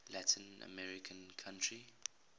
latin american country